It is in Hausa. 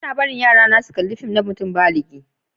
Ba'na barin yarana su kalla fìm na mutum báligi.